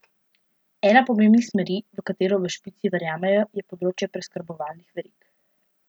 Ena pomembnih smeri, v katero v Špici verjamejo, je področje preskrbovalnih verig.